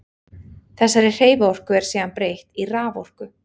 Þessari hreyfiorku er síðan breytt í raforku.